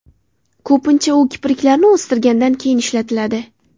Ko‘pincha u kipriklarni o‘stirgandan keyin ishlatiladi.